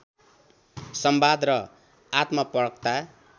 संवाद र आत्मपरकता